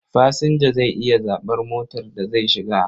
Fasinja zai iya zaɓar motar da zai shiga.